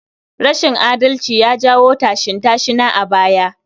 Rashin adalci ya jawo tashin-tashina a baya.